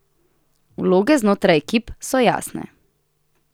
Vloge znotraj ekip so jasne.